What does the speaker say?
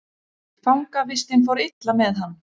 Fangavistin fór illa með hann.